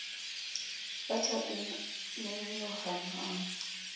ba thapameng eo ha hanghang